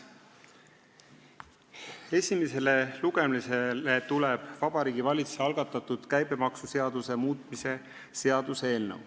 Esimesele lugemisele tuleb Vabariigi Valitsuse algatatud käibemaksuseaduse muutmise seaduse eelnõu.